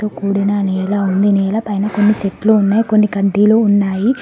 కూడిన నేలా ఉంది నేల పైన కొన్ని చెట్లు ఉన్నాయి కొన్ని కడ్డీలు ఉన్నాయి.